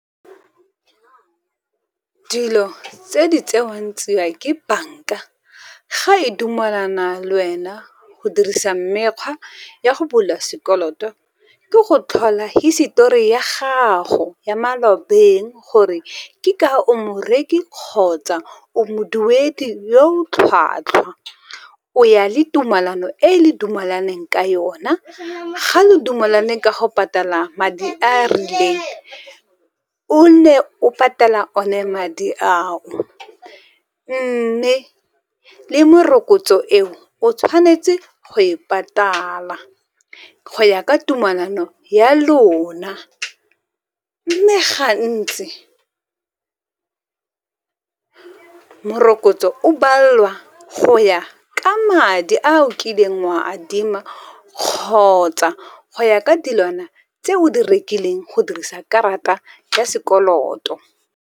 Dilo tse di tsewang tsia ke banka, ga e dumalana lwena go dirisa mekgwa ya go bula sekoloto, ke go tlhola hisetori ya gago ya malobeng gore ke ka o morereki kgotsa o moduedi yo o tlhwatlhwa. O ya le tumalano e le dumalaneng ka yona, ga lo dumalane ka go patala madi a a rileng, o nne o patela one madi ao. Mme le morokotso eo o tshwanetse go e patala go ya ka tumalano ya lona, mme gantsi morokotso o balelwa go ya ka madi a o kileng wa a adima, kgotsa go ya ka dilwana tse o di rekileng go dirisa karata ya sekoloto.